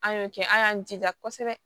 An y'o kɛ an y'an jija kosɛbɛ